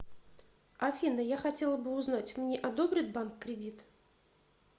афина я хотела бы узнать мне одобрит банк кредит